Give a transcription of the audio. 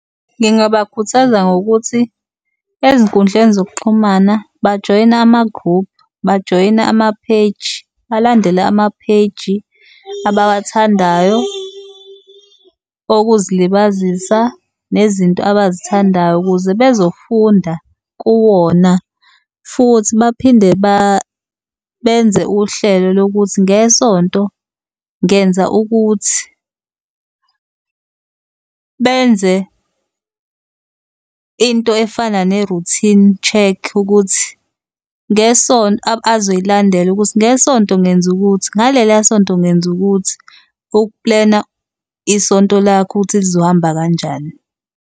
Ngingabakhuthaza ngokuthi ezinkundleni zokuxhumana bajoyine ama-group-u, bajoyine ama-page, balandele ama-page abawathandayo okuzilibazisa nezinto abazithandayo ukuze bezofunda kuwona, futhi baphinde benze uhlelo lokuthi ngesonto ngenza ukuthi. Benze into efana ne-routine check ukuthi ngesonto, azoyilandela ukuthi ngesonto ngenzukuthi, ngeleliya sonto ngenzukuthi, uku-plan-a isonto lakho ukuthi lizohamba kanjani.